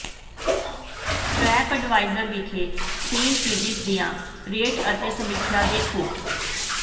trap adviser ਵਿਖੇ Saint Regis ਦੀਆਂ rate ਅਤੇ ਸਮੀਖਿਆ ਦੇਖੋ